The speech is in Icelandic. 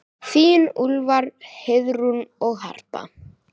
Þín Úlfar, Heiðrún og Harpa.